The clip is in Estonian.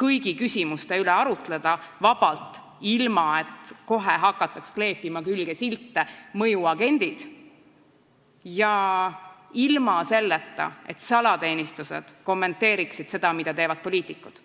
kõigi küsimuste üle vabalt arutleda, ilma et kohe hakataks kleepima külge silte "mõjuagendid" ja ilma et salateenistused kommenteeriksid seda, mida teevad poliitikud.